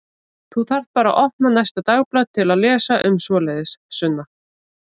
Þú þarft bara að opna næsta dagblað til að lesa um svoleiðis, Sunna.